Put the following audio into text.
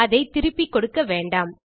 அதை திருப்பி கொடுக்க வேண்டாம்